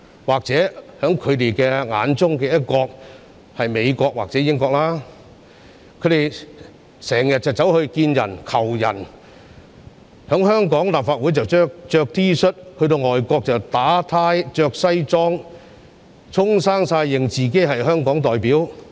或許他們眼中的"一國"是美國或英國，他們經常到外國提出請求，在香港立法會穿 T 恤，在外國卻打領帶穿西裝，自稱是香港代表。